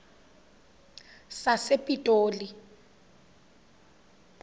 sasepitoli